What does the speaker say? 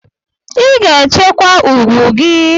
Ị ga-echekwa ugwu gị!